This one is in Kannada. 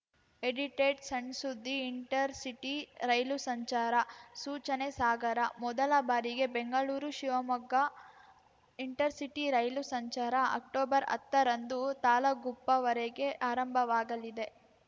ಎಡಿಟೆಡ್‌ ಸಣ್‌ಸುದ್ದಿ ಇಂಟರ್‌ಸಿಟಿ ರೈಲು ಸಂಚಾರ ಸೂಚನೆ ಸಾಗರ ಮೊದಲ ಬಾರಿಗೆ ಬೆಂಗಳೂರುಶಿವಮೊಗ್ಗ ಇಂಟರ್‌ಸಿಟಿ ರೈಲು ಸಂಚಾರ ಅಕ್ಟೊಬರ್ಹತ್ತರಂದು ತಾಳಗುಪ್ಪವರೆಗೆ ಆರಂಭವಾಗಲಿದೆ